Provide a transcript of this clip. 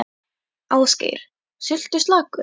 Ásgeir: Sultuslakur?